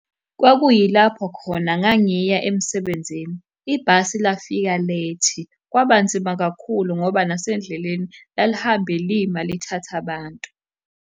Kwakuyilapho khona ngangiya emsebenzini. Ibhasi lafika late, kwaba nzima kakhulu ngoba nasendleleni lalihambe lima lithatha abantu.